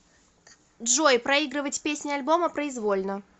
джой проигрывать песни альбома произвольно